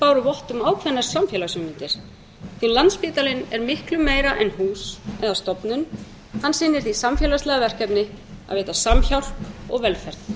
um ákveðnar samfélagshugmyndir því landspítalinn er miklu meira en hús eða stofnun hann sinnir því samfélagslega verkefni að veita samhjálp og velferð